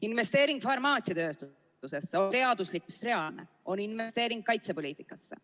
Investeering farmaatsiatööstusesse on ... reaalne, on investeering kaitsepoliitikasse.